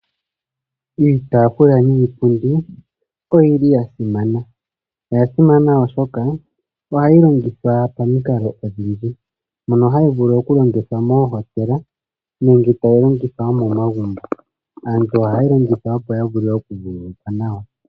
Iitafula niipundi oyili yasimana oyili ya simana oshoka ohayi longithwa pamikalo odhindji mono hayi vulu okulongithwa moohotela nenge tayi longithwa wo momagumbo aantu ohayeyi longitha opo ya vule okumonika naw.